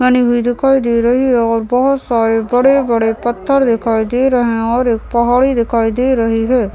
बनी हुई दिखाई दे रही हैं और बहुत सारे बड़े-बड़े पत्थर दिखाई दे रहे हैं और एक पहाड़ी दिखाई दे रही हैं।